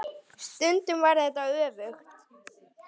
Stundum var þetta öfugt.